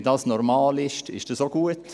Wenn dies normal ist, ist es auch gut.